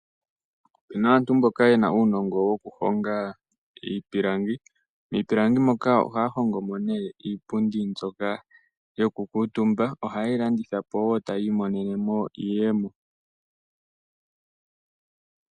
Opuna aantu mboka yena uunongo moku hinga iipilangi. Miipilangi moka ohaa hongomo iipundi mbyoka yoku kuutumba ohayeyi landithapo etaa monomo iiyemo.